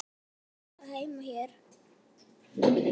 Átti Jói þá heima hér?